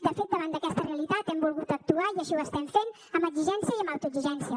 de fet davant d’aquesta realitat hem volgut actuar i així ho estem fent amb exigència i amb autoexigència